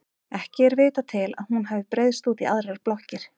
Ekki er vitað til að hún hafi breiðst út í aðrar blokkir.